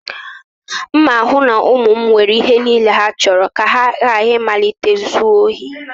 M na-ahụ na ụmụ m nwere ihe niile ha chọrọ ka ha ghara ịmalite izu ohi